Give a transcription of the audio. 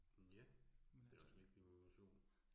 Hm ja, men det også vigtigt med motion